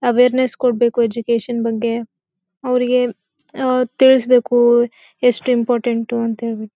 Awareness ಕೊಡ್ಬೇಕು education ಬಗ್ಗೆ. ಅವ್ರಿಗೆ ತಿಳಿಸಬೇಕು ಎಷ್ಟ್ ಇಂಪಾರ್ಟೆಂಟು ಅಂತ ಹೇಳಿ.